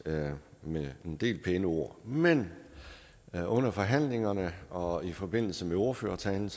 med en del pæne ord men men under forhandlingerne og i forbindelse med ordførertalerne